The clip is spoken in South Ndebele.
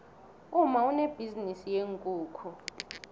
umma unebhizinisi yeenkukhu